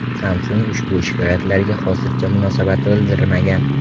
Samsung ushbu shikoyatlarga hozircha munosabat bildirmagan.